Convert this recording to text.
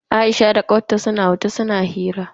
Aisha da kawar ta suna waje suna hira.